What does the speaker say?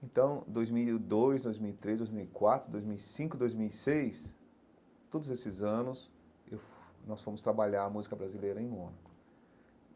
Então, dois mil e dois, dois mil e três, dois mil e quatro, dois mil e cinco, dois mil e seis, todos esses anos, eu nós fomos trabalhar a música brasileira em Mônaco.